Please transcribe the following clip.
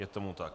Je tomu tak.